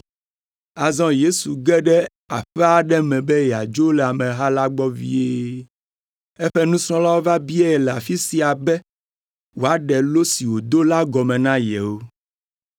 Azɔ Yesu ge ɖe aƒe aɖe me be yeadzo le ameha la gbɔ vie. Eƒe nusrɔ̃lawo va biae le afi sia be wòaɖe lo si wòdo la gɔme na yewo.